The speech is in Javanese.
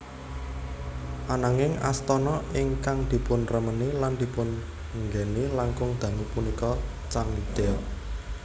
Ananging astana ingkang dipunremeni lan dipun nggèni langkung dangu punika Changdeok